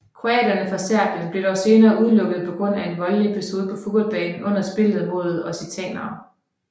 Kroaterne fra Serbien blev dog senere udelukket på grund af en voldelig episode på fodboldbanen under spillet mod occitanere